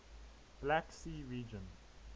black sea region